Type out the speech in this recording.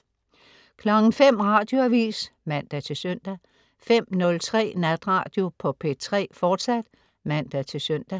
05.00 Radioavis (man-søn) 05.03 Natradio på P3, fortsat (man-søn)